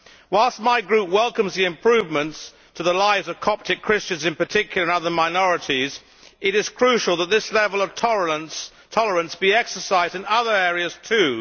Whilst my Group welcomes the improvements to the lives of Coptic Christians, in particular, and other minorities, it is crucial that this level of tolerance be exercised in other areas too.